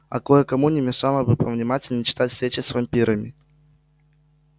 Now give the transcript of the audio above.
а кое-кому не мешало бы повнимательнее читать встречи с вампирами